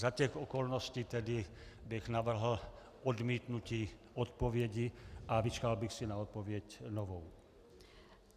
Za těch okolností tedy bych navrhl odmítnutí odpovědi a vyčkal bych si na odpověď novou.